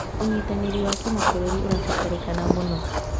ũnyitanĩri wa kĩmabũrũri ũrabataranĩka mũno.